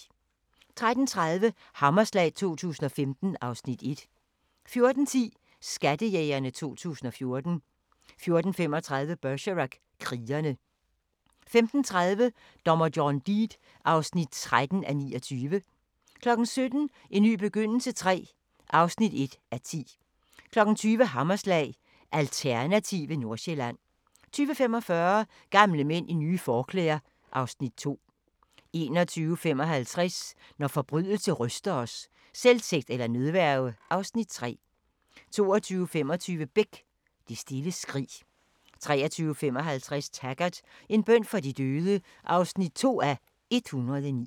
13:30: Hammerslag 2015 (Afs. 1) 14:10: Skattejægerne 2014 14:35: Bergerac: Krigere 15:30: Dommer John Deed (13:29) 17:00: En ny begyndelse III (1:10) 20:00: Hammerslag – Alternative Nordsjælland 20:45: Gamle mænd i nye forklæder (Afs. 2) 21:55: Når forbrydelse ryster os: Selvtægt eller nødværge (Afs. 3) 22:25: Beck: Det stille skrig 23:55: Taggart: En bøn for de døde (2:109)